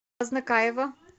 азнакаево